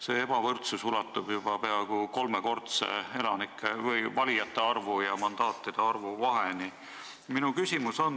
See ulatub juba peaaegu kolmekordse elanike või valijate arvu ja mandaatide arvu vaheni.